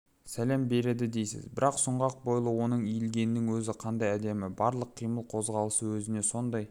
сәлем береді дейсіз бір сұңғақ бойлы оның иілгенінің өзі қандай әдемі барлық қимыл-қозғалысы өзіне сондай